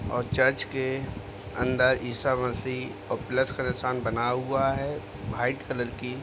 और चर्च के अंदर ईसामसीह और प्लस का निशान बनाया हुआ है। भाइट कलर की --